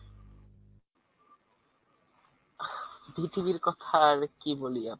আহ BTV কথা আর কি বলি?